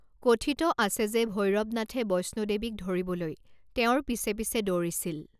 কথিত আছে যে ভৈৰৱ নাথে বৈষ্ণো দেৱীক ধৰিবলৈ তেওঁৰ পিছে পিছে দৌৰিছিল।